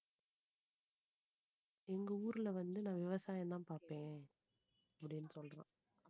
எங்க ஊர்ல வந்து நான் விவசாயம்தான் பார்ப்பேன். அப்படின்னு சொல்றான்